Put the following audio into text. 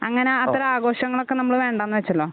അങ്ങനെ അത്ര ആഘോഷങ്ങളോക്കെ നമ്മള് വേണ്ടെന്നു വെച്ചല്ലോ